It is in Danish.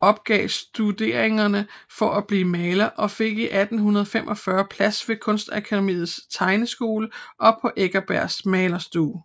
opgav studeringerne for at blive maler og fik 1845 plads i Kunstakademiets tegneskole og på Eckersbergs malerstue